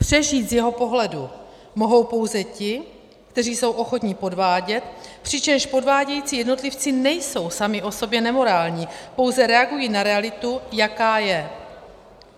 Přežít z jeho pohledu mohou pouze ti, kteří jsou ochotni podvádět, přičemž podvádějící jednotlivci nejsou sami o sobě nemorální, pouze reagují na realitu, jaká je.